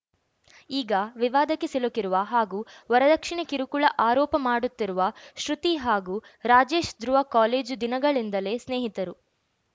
ಈಗ ವಿವಾದಕ್ಕೆ ಸಿಲುಕಿರುವ ಹಾಗೂ ವರದಕ್ಷಿಣೆ ಕಿರುಕುಳ ಅರೋಪ ಮಾಡುತ್ತಿರುವ ಶ್ರುತಿ ಹಾಗೂ ರಾಜೇಶ್‌ ಧ್ರುವ ಕಾಲೇಜು ದಿನಗಳಿಂದಲೇ ಸ್ನೇಹಿತರು